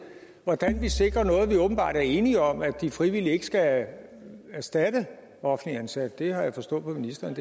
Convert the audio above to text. hvordan vi sikrer noget vi åbenbart er enige om at de frivillige ikke skal erstatte offentligt ansatte det har jeg forstået på ministeren at